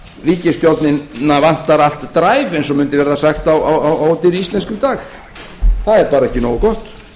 ef ríkisstjórnina vantar allt drive eins og mundi verða sagt á ódýrri íslensku í dag það er bara ekki nógu gott